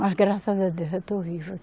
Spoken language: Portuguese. Mas graças a Deus eu tô viva.